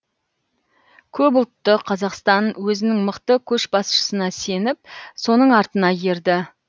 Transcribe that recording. көпұлтты қазақстан өзінің мықты көшбасшысына сеніп соның артына ерді